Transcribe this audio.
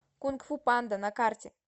кунг фу панда на карте